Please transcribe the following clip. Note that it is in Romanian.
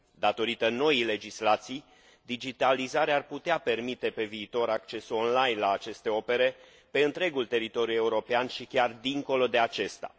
Datorită noii legislații, digitalizarea ar putea permite pe viitor accesul online la aceste opere pe întregul teritoriu european și chiar dincolo de acesta.